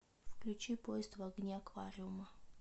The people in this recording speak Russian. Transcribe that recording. включи поезд в огне аквариума